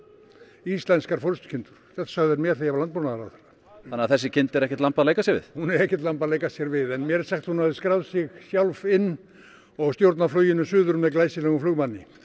íslenskar forystukindur þetta sögðu þeir mér þegar ég var landbúnaðarráðherra þannig að þessi kind er ekkert lamb að leika sér við hún er ekkert lamb að leika sér við en mér er sagt að hún hafi skráð sig sjálf inn og stjórnað fluginu suður með glæsilegum flugmanni